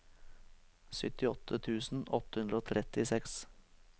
syttiåtte tusen åtte hundre og trettiseks